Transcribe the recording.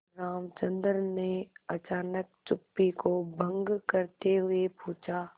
रामचंद्र ने अचानक चुप्पी को भंग करते हुए पूछा